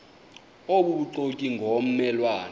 obubuxoki ngomme lwane